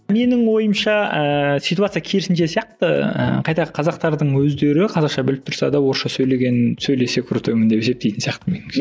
менің ойымша ыыы ситуация керісінше сияқты ы қайта қазақтардың өздері қазақша біліп тұрса да орысша сөйлеген сөйлесе крутоймын деп есептейтін сияқты меніңше